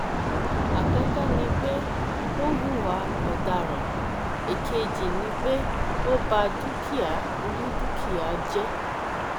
àkọkọ ni pé ó hùwà ọdaràn ẹẹkejì ni pé ó bá dúkìá onídùkìá jẹ